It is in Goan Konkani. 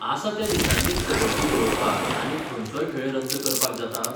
आसा त्या दिसांनीच कबड्डी दवरपाक आनीक खंयचोय खेळ रद्द करपाक जाता?